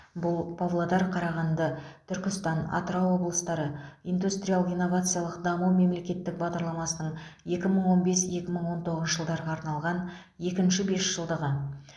бұл павлодар қарағанды түркістан атырау облыстары индустриялық инновациялық даму мемлекеттік бағдарламасының екі мың он бес екі мың он тоғызыншы жылдарға арналған екінші бесжылдығы